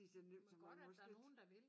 Men godt at der er nogen der vil